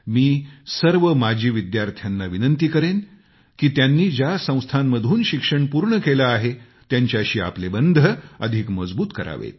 मी सर्व माजी विद्यार्थ्यांना आग्रह करेन की त्यांनी ज्या संस्थांमधून शिक्षण पूर्ण केलं आहे त्यांच्याशी आपले बंध अधिक मजबूत करत राहा